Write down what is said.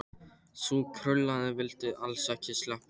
Sú krullaða vildi alls ekki sleppa Erni.